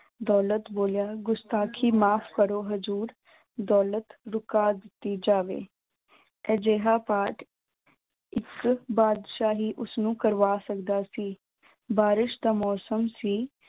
ਦੌਲਤ ਬੋਲਿਆ ਗੁਸਤਾਖੀ ਮਾਫ਼ ਕਰੋ ਹਜ਼ੂਰ, ਦੌਲਤ ਰੁਕਾ ਦਿੱਤੀ ਜਾਵੇ, ਅਜਿਹਾ ਪਾਠ ਇੱਕ ਬਾਦਸ਼ਾਹ ਹੀ ਉਸਨੂੰ ਕਰਵਾ ਸਕਦਾ ਸੀ, ਬਾਰਿਸ਼ ਦਾ ਮੌਸਮ ਸੀ,